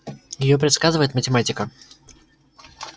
её предсказывает математика